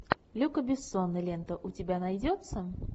люка бессона лента у тебя найдется